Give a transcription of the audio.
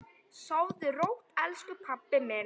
Sofðu rótt elsku pabbi minn.